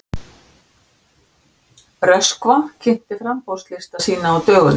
Röskva kynnti framboðslista sína á dögunum